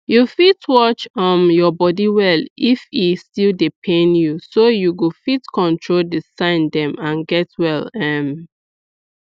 you fit watch um your body well if e still dey pain youso you go fit control the sign dem and get well um